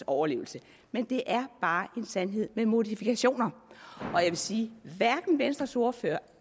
overlevelse men det er bare en sandhed med modifikationer og jeg vil sige at hverken venstres ordfører